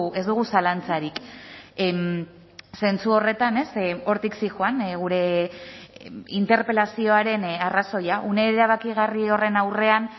ez dugu zalantzarik zentzu horretan hortik zihoan gure interpelazioaren arrazoia une erabakigarri horren aurrean